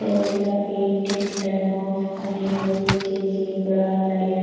there is a painting done of animals which in zebra lion.